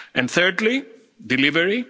production. Thirdly,